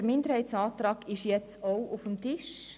Der Minderheitenantrag liegt nun auch auf dem Tisch.